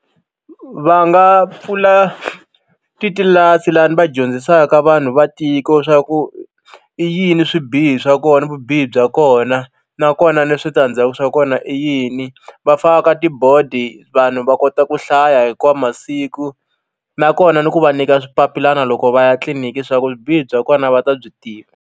Va nga pfula titlilasi lani va dyondzisaka vanhu va tiko swa ku i yini swibihi swa kona vubihi bya kona nakona ni switandzaku swa kona i yini va faka tibodi vanhu va kota ku hlaya hinkwawo masiku nakona ni ku va nyika swipapilana loko va ya tliliniki swa ku vubihi bya kona va ta byi tiva.